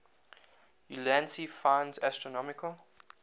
ulansey finds astronomical